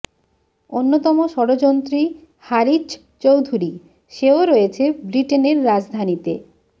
অন্যতম ষড়যন্ত্রী হারিছ চৌধুরী সেও রয়েছে ব্রিটেনের রাজধানীতে